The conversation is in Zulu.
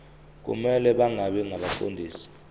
kumele bangabi ngabaqondisi